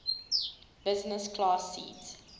business class seat